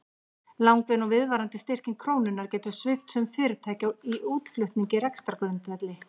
Langvinn og viðvarandi styrking krónunnar getur svipt sum fyrirtæki í útflutningi rekstrargrundvelli.